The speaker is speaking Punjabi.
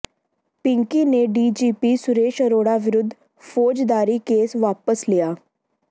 ਪਿੰਕੀ ਨੇ D G P Suresh Arora ਵਿਰੁੱਧ ਫੌਜਦਾਰੀ ਕੇਸ ਵਾਪਸ ਲਿਆ